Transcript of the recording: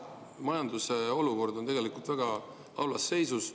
Majandus on tegelikult väga halvas seisus.